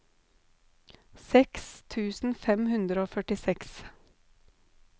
seks tusen fem hundre og førtiseks